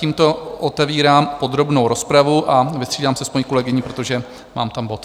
Tímto otevírám podrobnou rozpravu a vystřídám se s paní kolegyní, protože tam mám bod.